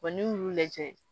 n'i y'u lajɛ